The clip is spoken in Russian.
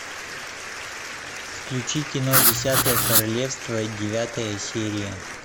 включи кино десятое королевство девятая серия